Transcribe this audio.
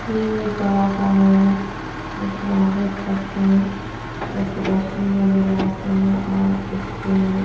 यह एक बड़ा सा होल है जिसमे आप देख सकते है कुछ डस्टबिन वगेरह रखे हुए है और इसपे --